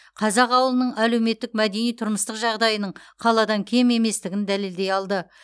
қазақ ауылының әлеуметтік мәдени тұрмыстық жағдайының қаладан кем еместігін дәлелдей алды